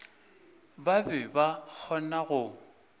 ba be ba kgona go